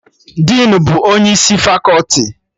Dinu bụ onye isi fakọti